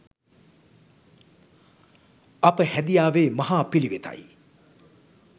අප හැදියාවේ මහා පිළිවෙතයි.